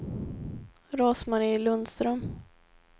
Rose-Marie Lundström